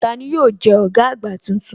Tani yóò jẹ́ ọ̀gá àgbà tuntun?